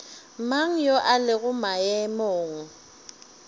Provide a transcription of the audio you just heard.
mang yo a lego maemong